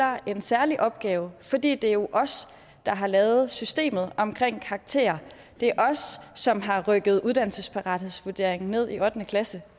har en særlig opgave for det er jo os der har lavet systemet om karakterer det er os som har rykket uddannelsesparathedsvurderingen ned i ottende klasse